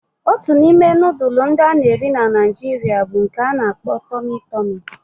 Otu n'ime nudulu ndi ana eri na naijiria bu nke a n'akpo "Tummy tummy"